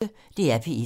DR P1